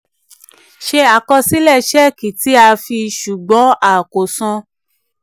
ṣe àkọsílẹ̀ ṣẹ́ẹ̀kì tí a fi ṣùgbọ́n a kò san.